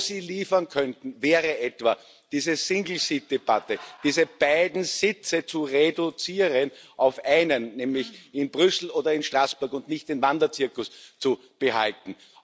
Wo Sie liefern könnten, wäre etwa, diese Single Seat Debatte, diese beiden Sitze zu reduzieren auf einen, nämlich in Brüssel oder in Straßburg und nicht den Wanderzirkus zu behalten.